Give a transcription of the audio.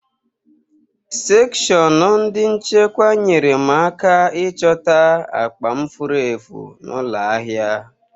Sekshọnụ ndị nchekwa nyere m aka ịchọta akpa m furu efu n'ụlọ ahịa.